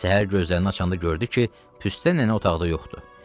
Səhər gözlərini açanda gördü ki, Püstə nənə otaqda yoxdur.